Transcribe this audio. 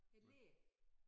Æ læe